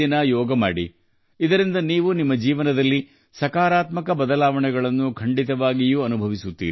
ಇದನ್ನು ಮಾಡುವುದರಿಂದ ನೀವು ಖಂಡಿತವಾಗಿಯೂ ನಿಮ್ಮ ಜೀವನದಲ್ಲಿ ಸಕಾರಾತ್ಮಕ ಬದಲಾವಣೆಗಳನ್ನು ಅನುಭವಿಸುವಿರಿ